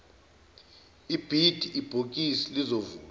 ibhidi ibhokisi lizovulwa